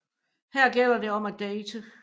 Her gælder det om at date